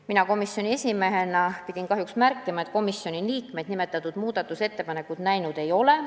Mina komisjoni esimehena pidin kahjuks märkima, et komisjoni liikmed nimetatud muudatusettepanekut näinud ei ole.